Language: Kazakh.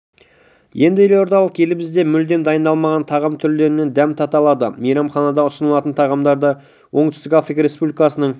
енді елордалықтар елімізде мүлде дайындалмаған тағам түрлерінен дәм тата алады мейрамханада ұсынылатын тағамдарды оңтүстік африка республикасының